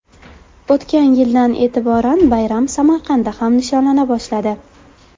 O‘tgan yildan e’tiboran bayram Samarqandda ham nishonlana boshladi.